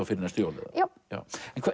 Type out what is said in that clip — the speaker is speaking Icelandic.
fyrir næstu jól já